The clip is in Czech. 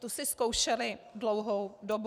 Tu si zkoušely dlouhou dobu.